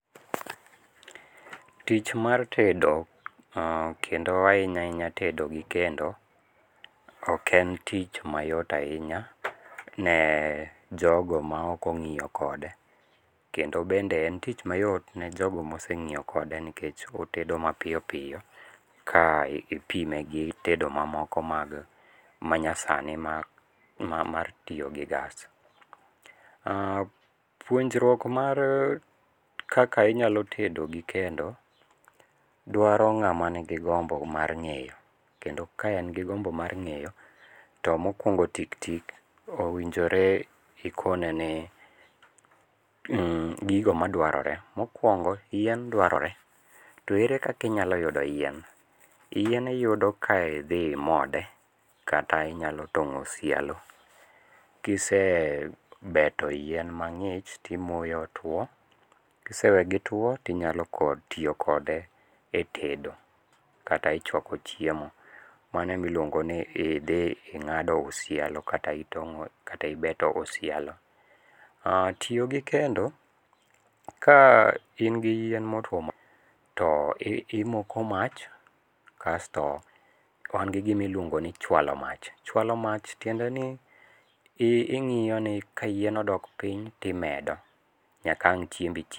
Tich mar tedo kendo ahinya ahinya ted gi kendo, ok en tich mayot ahinya ne jogo ma ok ongíyo kode. Kendo bende en tich mayot ne jogo ma ose ngíyo kode nikech otedo mapiyo piyo ka ipime gi tedo ma moko mag manyasani ma ma mar tiyo gi gas. Puonjruok mar kaka inyalo tedo gi kendo, dwaro ngáma nigi gombo mar ngéyo, kendo ka en gi gombo mar ngéyo, to mokwongo tik tik, owinjore ikone ni gigo madwarore. Mokwongo, yien dwarore. To ere kaka inyalo yudo yien. Yien iyudo ka idhi imode, kata inyalo tongó osialo. Kise beto yien mangích to imoye otwo. Kisewegitwo to inyalo kod tiyo kode e tedo kata e chwako chiemo. Mano ema iluongo ni idhi ingádo osialo, kata itongó, kata ibeto osialo. Tiyo gi kendo ka in gi yien motwo to imoko mach kasto wan gi gima iluongo ni chwalo mach. Chwalo mach tiende ni ingiyo ni ka yien odok piny to imedo, nyaka wang' chiembi chieg.